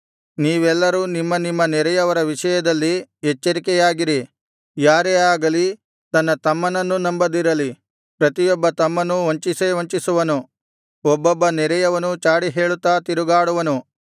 ನೀವೆಲ್ಲರೂ ನಿಮ್ಮ ನಿಮ್ಮ ನೆರೆಯವರ ವಿಷಯದಲ್ಲಿ ಎಚ್ಚರಿಕೆಯಾಗಿರಿ ಯಾರೇ ಆಗಲಿ ತನ್ನ ತಮ್ಮನನ್ನೂ ನಂಬದಿರಲಿ ಪ್ರತಿಯೊಬ್ಬ ತಮ್ಮನೂ ವಂಚಿಸೇ ವಂಚಿಸುವನು ಒಬ್ಬೊಬ್ಬ ನೆರೆಯವನೂ ಚಾಡಿಹೇಳುತ್ತಾ ತಿರುಗಾಡುವನು